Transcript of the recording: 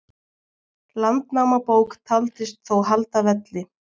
Landnámabók taldist þó halda velli.